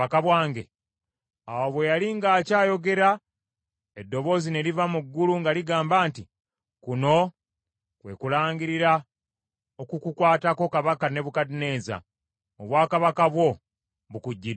Awo bwe yali ng’akyayogera, eddoboozi ne liva mu ggulu nga ligamba nti, “Kuno kwe kulangirira okukukwatako Kabaka Nebukadduneeza: obwakabaka bwo bukuggyiddwako.